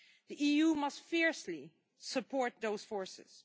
The EU must fiercely support those forces.